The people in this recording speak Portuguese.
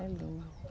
É lindo.